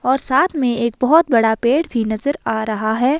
और साथ में एक बहोत बड़ा पेड़ भी नजर आ रहा है।